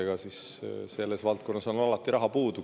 Ega siis selles valdkonnas on alati raha puudu.